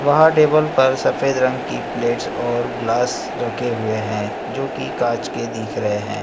वहां टेबल पर सफेद रंग की प्लेट्स और ग्लास रखे हुए हैं जो की कांच के दिख रहे हैं।